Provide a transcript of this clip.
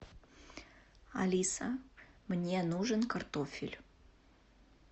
алиса мне нужен картофель